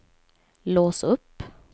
lås upp